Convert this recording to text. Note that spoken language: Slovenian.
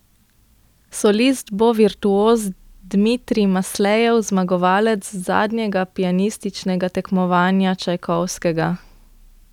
Solist bo virtuoz Dmitrij Maslejev, zmagovalec zadnjega pianističnega tekmovanja Čajkovskega.